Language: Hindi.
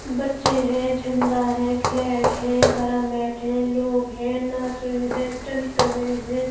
बच्चे हैं झंडा है फ्लैग है हरा मैट है लोग हैं नाच रहे हैं स्टंट कर रहे हैं।